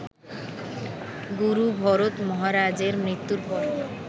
গুরু ভরত মহারাজের মৃত্যুর পর